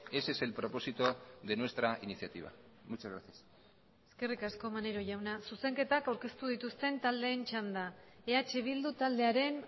ese es el propósito de nuestra iniciativa muchas gracias eskerrik asko maneiro jauna zuzenketak aurkeztu dituzten taldeen txanda eh bildu taldearen